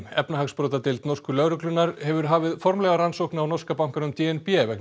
efnahagsbrotadeild norsku lögreglunnar hefur hafið formlega rannsókn á norska bankanum d n b vegna